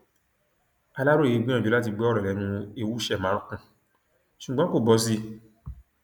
aláròye gbìyànjú láti gbọ ọrọ lẹnu ewuṣẹ makùn ṣùgbọn kò bọ sí i